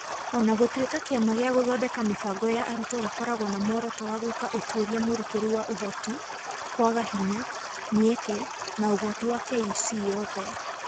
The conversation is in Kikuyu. O na gũtuĩka Kĩama gĩa Gũthondeka Mĩbango ya Arutwo gĩkoragwo na muoroto wa gwĩka ũtuĩria mũrikĩru wa Ũhoti, kwaga hinya, mĩeke, na ũgwati wa KEC yothe.